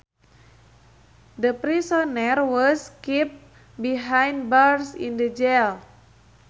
The prisoner was kept behind bars in the jail